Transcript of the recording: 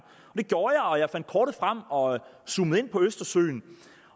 det gjorde jeg jeg fandt kortet frem og zoomede ind på østersøen